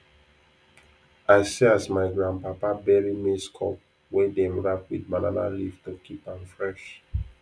i see as my grandpapa bury maize cob wey dem wrap with banana leaf to keep am fresh